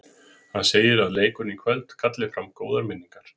Hann segir að leikurinn í kvöld kalli fram góðar minningar